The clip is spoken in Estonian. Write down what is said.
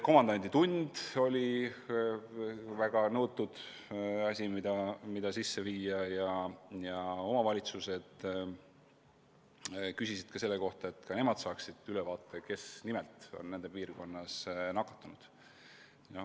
Komandanditund oli väga nõutud asi, mida sisse viia, ja omavalitsused küsisid, kas ka nemad saaksid ülevaate, kes täpselt nende piirkonnas on nakatunud.